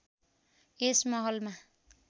यस महलमा